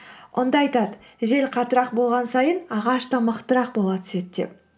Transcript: онда айтады жел қаттырақ болған сайын ағаш та мықтырақ бола түседі деп